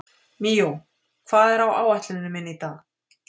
Míó, hvað er á áætluninni minni í dag?